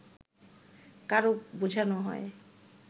কারক বোঝানো হয়